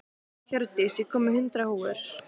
Hjördís, ég kom með hundrað húfur!